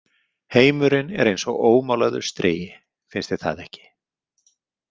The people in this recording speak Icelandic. Heimurinn er eins og ómálaður strigi, finnst þér það ekki?